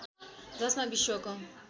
जसमा विश्वको